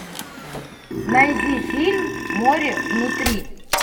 найди фильм море внутри